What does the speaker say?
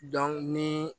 ni